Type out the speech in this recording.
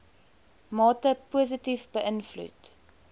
mate positief beïnvloed